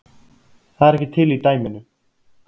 Það er ekki til í dæminu